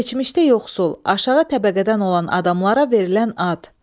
Keçmişdə yoxsul, aşağı təbəqədən olan adamlara verilən ad.